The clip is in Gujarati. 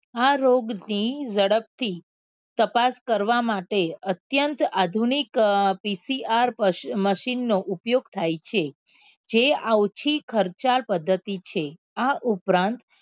આ રોગ ની ઝડપ થી તપાસ કરવા માટે અત્યંત આધુનિક અ PCRmachine નો ઉપયોગ થાય છે જેઆવથી ખર્ચાળ પદ્ધતિ છે આ ઉપરાંત